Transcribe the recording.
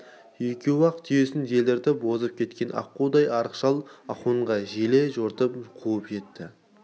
екеуі ақ түйесін желдіртіп озып кеткен аққудай арық шал ахунға желе жортып қуып жетті